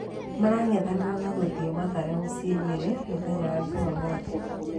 Marang'ethanĩra na ngũthi Mathare mũciĩ Nyeri mũthenya wa Jumamwothi